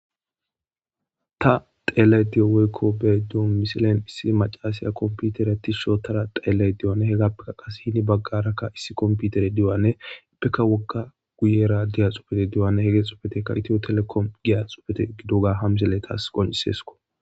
Ta teelay diyo weykko bee do misilen issi macasiya kompiuterati shootara xeellay dioane hegappekka qas hini baggarakka issi komputere diowanne ippeka wokka guyera diya xupete diyowanne he ge xupeteka itiyo telekom giya xupete gidoga hamzele taas qoncisesko